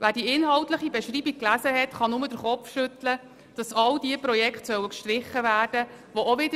Wer die inhaltliche Beschreibung gelesen hat, kann nur den Kopf schütteln darüber, dass all diese Projekte gestrichen werden sollen.